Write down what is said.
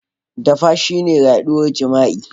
Dafa shine yaduwar jima'i.